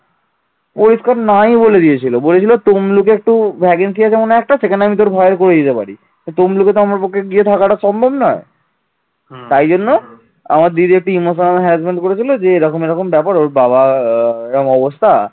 আমার দিদি একটু emotional harassment করেছিল যে এরকম ব্যাপার ওর বাবা এরকম অবস্থা